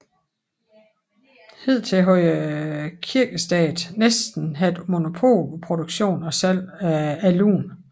Hidtil havde Kirkestaten næsten haft monopol på produktion og salg af alun